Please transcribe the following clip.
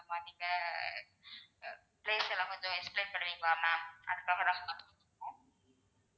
அந்த மாட்டுக்க அஹ் place எல்லாம் கொஞ்சம் explain பண்ணுவீங்களா ma'am அதுக்காக தான் call பண்ணிருக்கோம்.